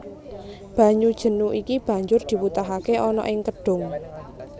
Banyu jenu iki banjur diwutahake ana ing kedhung